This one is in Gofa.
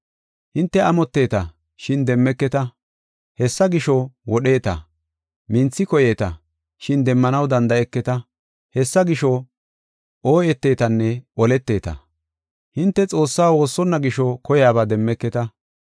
Hinte amotteeta, shin demmeketa; hessa gisho, wodheeta. Minthi koyeeta, shin demmanaw danda7eketa; hessa gisho, ooyeteetanne oleteeta. Hinte Xoossaa woossonna gisho koyaba demmeketa.